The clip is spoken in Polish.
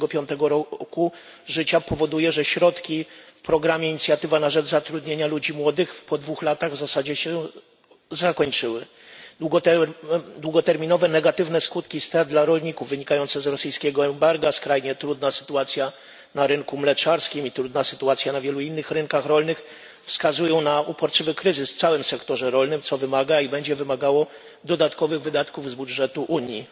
25. roku życia powoduje, że środki w programie Inicjatywa na rzecz zatrudnienia ludzi młodych po dwóch latach jego funkcjonowania w zasadzie się skończyły. Długoterminowe negatywne skutki strat rolników wynikające z rosyjskiego embarga, skrajnie trudna sytuacja na rynku mleczarskim i trudna sytuacja na wielu innych rynkach rolnych wskazują na uporczywy kryzys w całym sektorze rolnym, co wymaga i będzie wymagało dodatkowych wydatków z budżetu Unii.